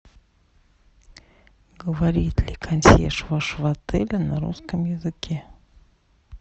говорит ли консьерж вашего отеля на русском языке